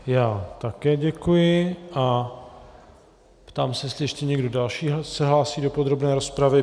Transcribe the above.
Já také děkuji a ptám se, jestli ještě někdo další se hlásí do podrobné rozpravy.